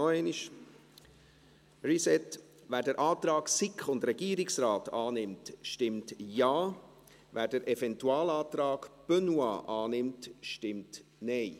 Noch einmal: Wer den Antrag SiK und Regierungsrat annimmt, stimmt Ja, wer den Eventualantrag Benoit annimmt, stimmt Nein.